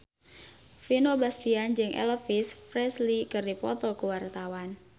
Vino Bastian jeung Elvis Presley keur dipoto ku wartawan